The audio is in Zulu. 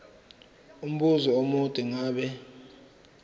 umbuzo omude ngabe